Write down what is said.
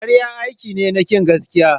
Karya aiki ne na kin gaskiya.